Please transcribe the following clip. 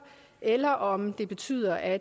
eller om det betyder at